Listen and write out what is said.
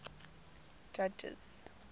judges